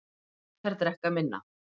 Bretar drekka minna